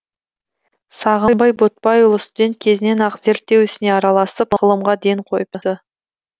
сағымбай ботпайұлы студент кезінен ақ зерттеу ісіне араласып ғылымға ден қойыпты